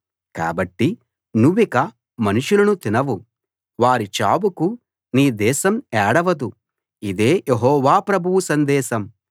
కాబట్టి నువ్విక మనుషులను తినవు వారి చావుకు నీ దేశం ఏడవదు ఇదే యెహోవా ప్రభువు సందేశం